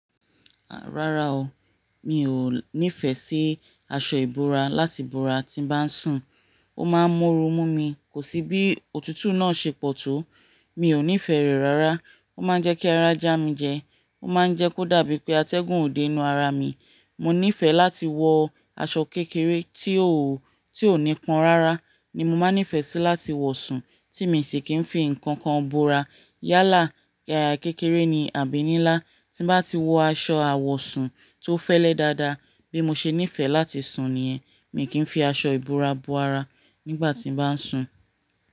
Rárá o, mi ò nífẹ̀ẹ́ sí aṣọ ìbora láti bora tí n bá ń sùn. Ó máa ń mú oru mú mi, kò sí bí òtútù náà ṣe pọ̀ tó. Mi ò nífẹ̀ẹ́ rẹ̀ rárá. Ó máa ń jẹ́ kí ara já mi jẹ. Ó máa ń jẹ́ kó dàbí pé atẹ́gùn òde nu ara mi. Mo nífẹ̀ẹ́ láti wọ aṣọ kékeré tí ó, tí ò ní pọ́n rárá ni mo máa nífẹ̀ẹ́ sí láti wọ sùn tí mi sì kì í fi ǹkan kan bora. Yálà, yàrá kékeré ni àbí ninlá. Tí n bá ti wọ aṣọ àwọ̀sùn tó fẹ́lẹ́ dáadáa bí mo ṣe nífẹ̀ẹ́ láti sùn niyẹ̀n, mi kì í fi aṣọ ìbora bo ara nígbà tí n bá ń sùn.